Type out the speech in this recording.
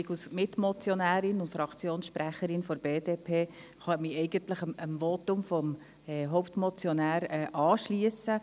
Ich als Mitmotionärin und Fraktionssprecherin der BDP kann ich mich dem Votum des Hauptmotionärs anschliessen.